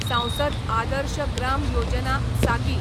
सांसद आदर्श ग्राम योजना सागी